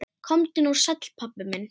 Komdu nú sæll, pabbi minn.